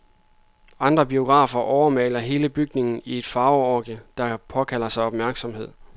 Andre biografer overmaler hele bygningen i et farveorgie, der påkalder sig opmærksomhed.